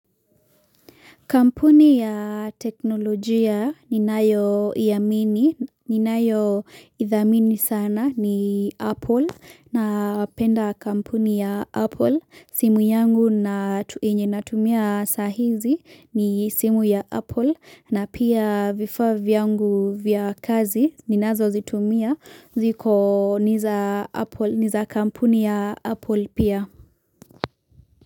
Kampuni ya teknolojia ni nayo yaamini, ninayo idhamini sana ni Apple, napenda kampuni ya Apple, simu yangu natumia sahizi ni simu ya Apple, na pia vifaa vyangu vya kazi, ninazo zitumia, ziko niza kampuni ya Apple pia.